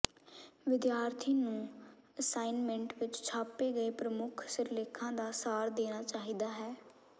ਵਿਦਿਆਰਥੀ ਨੂੰ ਅਸਾਈਨਮੈਂਟ ਵਿਚ ਛਾਪੇ ਗਏ ਪ੍ਰਮੁੱਖ ਸਿਰਲੇਖਾਂ ਦਾ ਸਾਰ ਦੇਣਾ ਚਾਹੀਦਾ ਹੈ